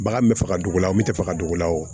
Bagan me faga dugu la o min tɛ faga dugu la o